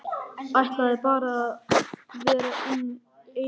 Ætlaði bara að vera eina helgi.